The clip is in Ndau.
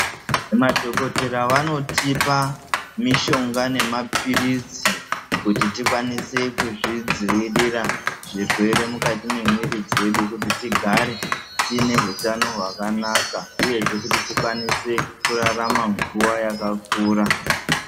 Madhokodheya vanotipa mishonga nemapirizi kuti tikwanise kuzvidzivirira zvirwere mukati memwiri medu Maari mune hutano hwakanaka Zvekuti tikwanise kurarama nguwa yakakura.